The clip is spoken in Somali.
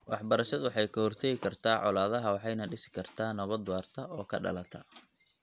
Waxbarashadu waxay ka hortagi kartaa colaadaha waxayna dhisi kartaa nabad waarta oo ka dhalata .